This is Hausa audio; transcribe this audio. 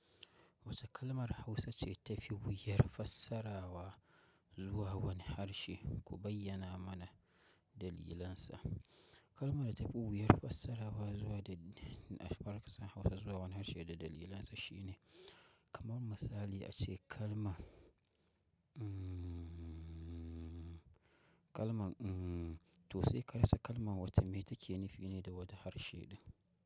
Wace kalmar Hausa ce ta fi wuyar fassarawa zuwa wani harshe, ku bayyana mana dalilansa. Kalmar da tafi wuyar fassarawa zuwa da barka Hausa zuwa wani harshe da dalilansa shine kamar misali ace kalma, kalman "uhm" to sai ka rasa kalman wata mai take nufi ne da wata harshe ɗin.